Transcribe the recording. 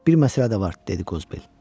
Bir məsələ də var, dedi Qozbel.